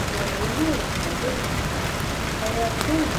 ìbẹwò iléewòsàn lojijì aya john